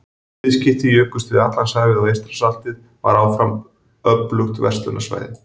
Viðskipti jukust yfir Atlantshafið og Eystrasaltið var áfram öflugt verslunarsvæði.